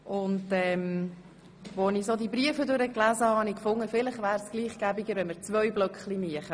Als ich die Briefe las, dachte ich mir, dass es vielleicht besser wäre, zwei Blöcke zu machen.